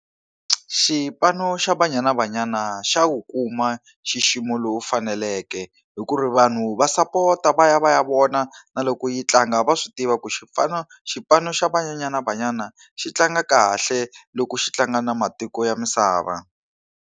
Xipano xa Banyana Banyana xa wu kuma xixima lowu faneleke hi ku ri vanhu va sapota va ya va ya vona na loko yi tlanga, va swi tiva ku xipano xa Banyana Banyana xi tlanga kahle loko xi tlanga na matiko ya misava.